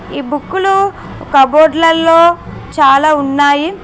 ఈ బుక్కలు కప్బోర్డ్ లల్లో చాలా ఉన్నాయి.